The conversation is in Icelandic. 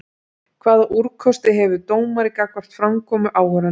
Hvaða úrkosti hefur dómari gagnvart framkomu áhorfenda?